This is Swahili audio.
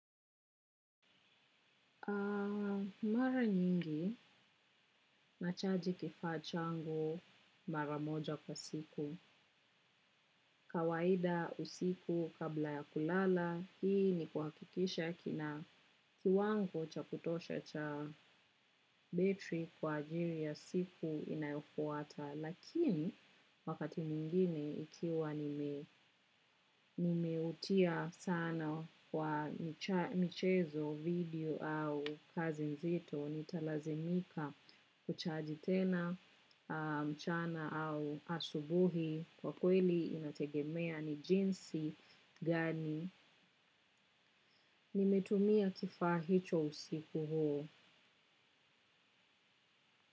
Mara nyingi nachaji kifaa changu mara moja kwa siku. Kawaida usiku kabla ya kulala hii ni kuhakikisha kina kiwango cha kutosha cha betri kwa ajili ya siku inayofuata. Lakini wakati mwingine ikiwa nimeutia sana wa michezo video au kazi nzito nitalazimika kuchaji tena mchana au asubuhi kwa kweli inategemea ni jinsi gani nimetumia kifaa hicho usiku huo.